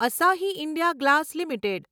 Asahi India glass limited